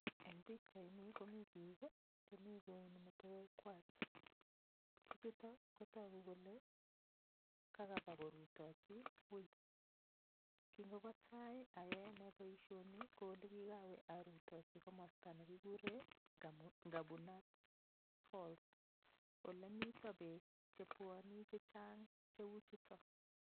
Eng' pikchaini komi biik chemi kouni metewek kwach bichuto kotoku kole kakaba korutochi wii kingobo tai ayoe ane boishoni ko ole kikawe arutochi komosta nekikure ng'abunat falls ole mito beek chebwoni chechang' cheu chuto